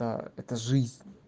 да это жизнь